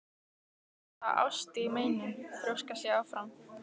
Það er náttúrlega ást í meinum, þrjóskast ég áfram.